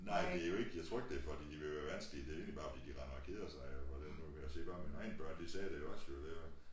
Nej det jo ikke jeg tror ikke det fordi de vil være vanskelig det egentlig bare fordi de render og keder sig jo og det nu se bare mine egne børn de sagde det jo også det jo